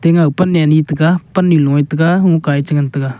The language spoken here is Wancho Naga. pan a ani taiga pan a ni a lowga lunka a chi ngan tega.